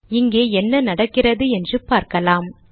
இங்கே என்ன நடக்கிறது என்று பார்க்கலாம்